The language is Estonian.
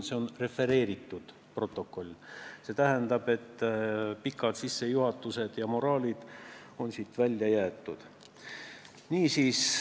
See on refereeritud protokoll, mis tähendab, et pikad sissejuhatused ja moraalijutlused on siit välja jäetud.